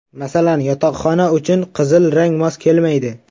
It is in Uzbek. Masalan, yotoqxona uchun qizil rang mos kelmaydi.